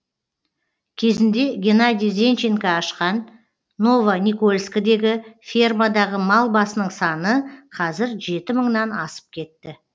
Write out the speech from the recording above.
кезінде геннадий зенченко ашқан новоникольскідегі фермадағы мал басының саны қазір жеті мыңнан асып кетті